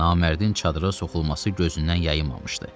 Namərdin çadıra soxulması gözündən yayınmamışdı.